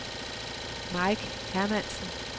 Mike Hermansen